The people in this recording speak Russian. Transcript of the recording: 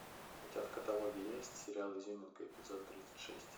у тебя в каталоге есть сериал изюминка эпизод тридцать шесть